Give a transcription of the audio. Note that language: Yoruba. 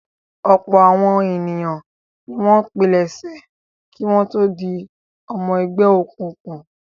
Ọ̀pọ̀ àwọn ènìyàn ni wọ́n pilẹ̀sẹ̀ kí wọ́n tó di ọmọ ẹgbẹ́ òkùnkùn.